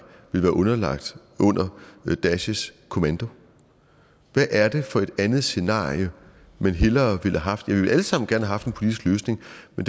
ville være underlagt under daeshs kommando hvad er det for et andet scenarie man hellere ville have haft vi ville alle sammen gerne have haft en politisk løsning